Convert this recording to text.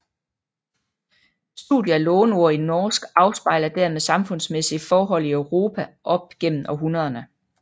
Studier af låneord i norsk afspejler dermed samfundsmæssige forhold i Europa op gennem århundrederne